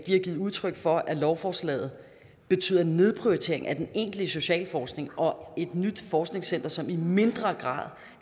har givet udtryk for at lovforslaget betyder nedprioritering af den egentlige socialforskning og et nyt forskningscenter som i mindre grad